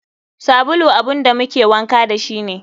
Sabulu abun da muke wanka dashi ne.